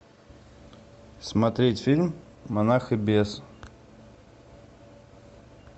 смотреть фильм монах и бес